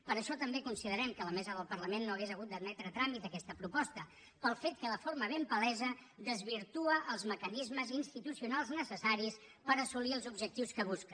per això també considerem que la mesa del parlament no hauria hagut d’admetre a tràmit aquesta proposta pel fet que de forma ben palesa desvirtua els mecanismes institucionals necessaris per assolir els objectius que busca